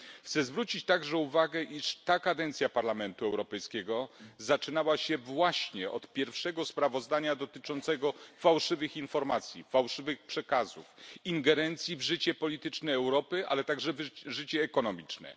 Chcę zwrócić także uwagę na fakt, iż ta kadencja Parlamentu Europejskiego rozpoczynała się właśnie od pierwszego sprawozdania dotyczącego fałszywych informacji, fałszywych przekazów, ingerencji w życie polityczne Europy, a także życie gospodarcze.